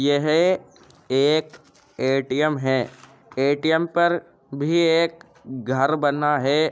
यह एक ए.टी.एम. है। ए.टी.एम. पर भी एक घर बना है।